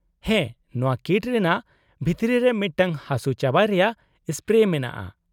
-ᱦᱮᱸ, ᱱᱚᱶᱟ ᱠᱤᱴ ᱨᱮᱱᱟᱜ ᱵᱷᱤᱛᱨᱤ ᱨᱮ ᱢᱤᱫᱴᱟᱝ ᱦᱟᱹᱥᱩᱼᱪᱟᱵᱟᱭ ᱨᱮᱭᱟᱜ ᱥᱯᱨᱮ ᱢᱮᱱᱟᱜᱼᱟ ᱾